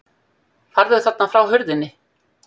Farðu þarna frá hurðinni!